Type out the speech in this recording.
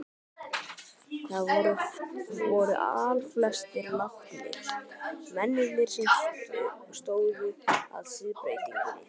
Þeir voru allflestir látnir, mennirnir sem stóðu að siðbreytingunni.